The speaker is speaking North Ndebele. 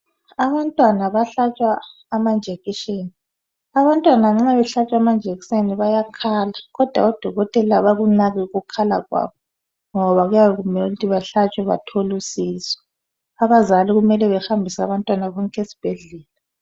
Abantwana bahlatshwa amanjekiseni . Abantwana nxa behlatshwa amanjekiseni bayakhala kodwa oDokotela abakunaki ukukhala kwabo ngoba kuyabe kumele ukuthi bahlatshwe bathole usizo. Abazali kumele bahambise abantwababo esibhedlela.